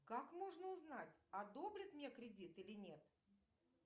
как можно узнать одобрят мне кредит или нет